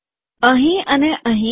અહીં અને અહીં